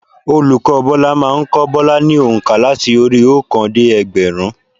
Olùkọ́ Bọ́lá má a n kó Bọ́lá ni ònkà láti orí i óòkan dé ẹgbẹ̀rún